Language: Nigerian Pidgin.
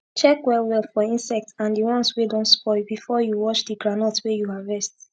check well well for insect and d ones wey don spoil before you wash d groundnut wey u harvest